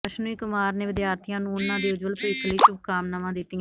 ਅਸ਼ਵਨੀ ਕੁਮਾਰ ਨੇ ਵਿਦਿਆਰਥੀਆਂ ਨੂੰ ਉਨ੍ਹਾਂ ਦੇ ਉਜਵਲ ਭਵਿੱਖ ਲਈ ਸ਼ੁਭ ਕਾਮਨਾਵਾਂ ਦਿੱਤੀਆ